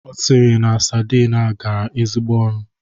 Ọ sịrị na sadin a garara ezigbo ọnụ?